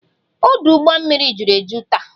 Ọdụ ụgbọ mmiri juru eju taa